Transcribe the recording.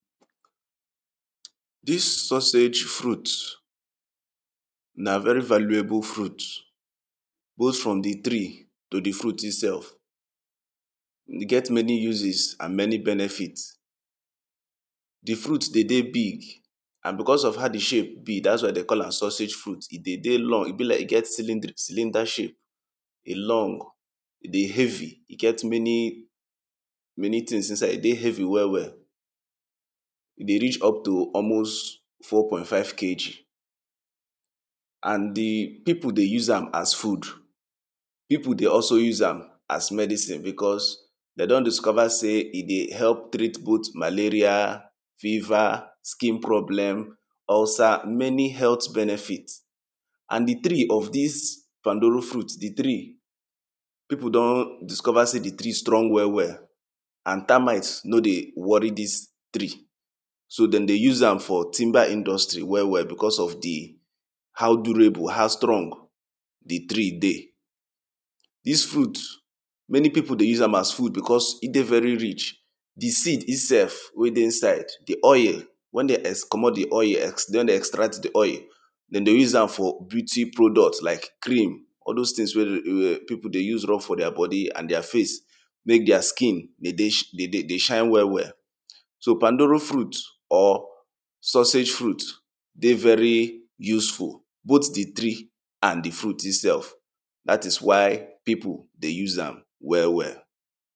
Dis sausage fruit na very valuable fruit both from di tree to di fruit e sef. E get many uses and many benefit. Di fruit dey dey big and becos of how di shape be dats why dey call am sausage fruit, e dey dey long, e be like, e get cylinder shape, e long, e dey heavy, e get many things inside, e dey heavy well well. E dey reach up to almost four point five KG and di pipo dey use am as food, pipo dey also use am as medicine becos dey don discover sey e dey help treat both malaria, fever, skin problem, ulcer many health benefit and di tree of dis pandoro fruit, di tree pipo don discover sey di tree strong well well and termite no dey worry dis tree so de dey use am for timber industry well well becos of di how durable, how strong di tree dey. Dis fruit many pipo dey use am as food becos e dey very rich, di seed e sef wey dey inside di oil when dey comot di oil, when dey extract di oil, de dey use am for beauty product like cream all dose things wey pipo dey use rub for deir body and deir face mek deir skin dey shine well well. So pandoro fruit or sausage fruit dey very useful but di tree and di fruit e sef dat is why pipo dey use am well well.